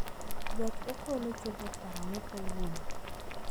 Gach okolo chopo karang'o kawuono